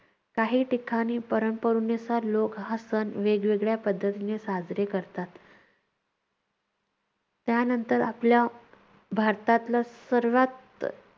काही ठिकाणी लोक हा सण वेगवेगळ्या पद्धतीने साजरे करतात. त्यानंतर आपल्या भारतातलं सर्वात